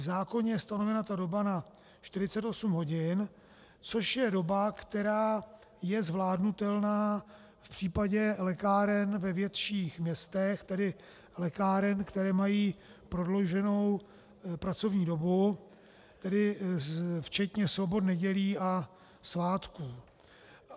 V zákoně je stanovena ta doba na 48 hodin, což je doba, která je zvládnutelná v případě lékáren ve větších městech, tedy lékáren, které mají prodlouženou pracovní dobu, tedy včetně sobot, nedělí a svátků.